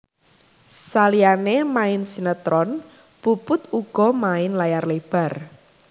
Saliyané main sinetron Puput uga main layar lebar